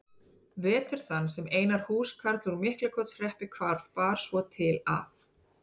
Vetur þann sem Einar húskarl úr Miklaholtshreppi hvarf bar svo til að